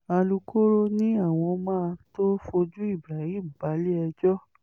alūkkóró ni àwọn máa tóó fojú ibrahim balẹ̀-ẹjọ́